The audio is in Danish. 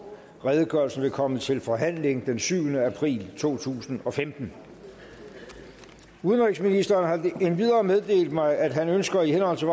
redegørelsen vil komme til forhandling den syvende april to tusind og femten udenrigsministeren har endvidere meddelt mig at han ønsker i henhold til